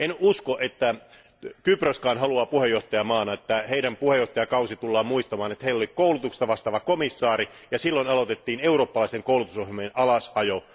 En usko, että Kyproskaan haluaa puheenjohtajamaana, että heidän puheenjohtajakautensa tullaan muistamaan, että heillä oli koulutuksesta vastaava komissaari ja silloin aloitettiin eurooppalaisten koulutusohjelmien alasajo.